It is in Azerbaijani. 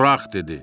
Burax dedi.